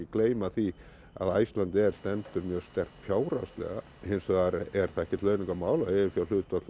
gleyma því að Icelandair stendur mjög sterkt fjárhagslega hins vegar er það ekkert launungarmál að eiginfjárhlutfall